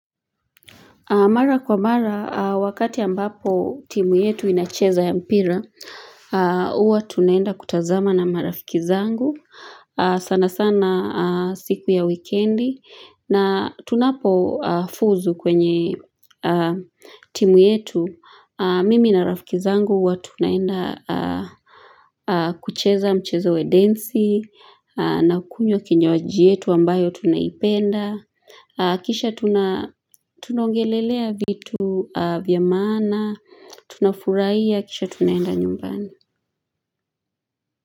Mara kwa mara wakati ambapo timu yetu inacheza ya mpira huwa tunaenda kutazama na marafiki zangu sana sana siku ya wikendi na tunapofuzu kwenye timu yetu mimi na rafiki zangu huwa tunaenda kucheza mchezo we densi na kukunywa kinywaji yetu ambayo tunaipenda Kisha tunaongelelea vitu vya maana Tunafuraia, kisha tunaenda nyumbani.